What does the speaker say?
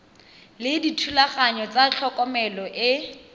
le dithulaganyo tsa tlhokomelo e